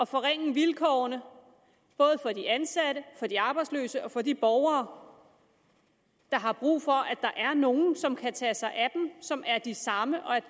forringe vilkårene både for de ansatte for de arbejdsløse og for de borgere der har brug for at der er nogen som kan tage sig af dem og som er de samme